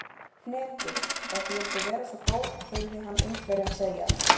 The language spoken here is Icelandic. Hnetur, ef þú vildir vera svo góð heyrði hann Indverjann segja.